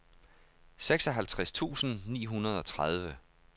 seksoghalvtreds tusind ni hundrede og tredive